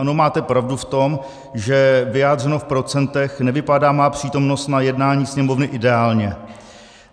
Ano, máte pravdu v tom, že vyjádřeno v procentech nevypadá má přítomnost na jednání Sněmovny ideálně.